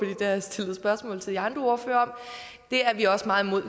har jeg stillet spørgsmål til de andre ordførere om er vi også meget imod